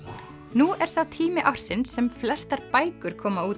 nú er sá tími ársins sem flestar bækur koma út